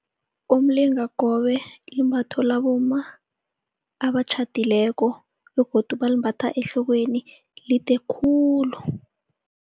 Umlingakobe limbatho labomma abatjhadileko begodu balimbatha ehlokweni, lide khulu.